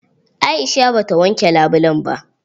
Aisha ba ta wanke labulen ba.